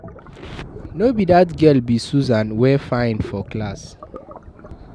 No be dat girl be Susan wey fine for class